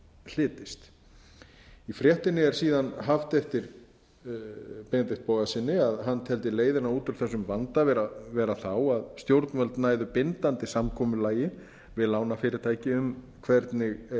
hlytist í fréttinni er síðan haft eftir benedikt bogasyni að hann teldi leiðina út úr þessum vanda vera þá að stjórnvöld næðu bindandi samkomulagi við lánafyrirtæki um hvernig eigi að fara með þessi mál